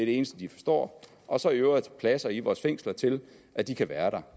eneste de forstår og så i øvrigt pladser i vores fængsler til at de kan være